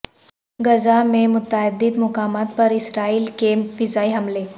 غزہ میں متعدد مقامات پر اسرائیل کے فضائی حملے